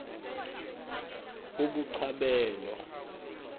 ebuchabelo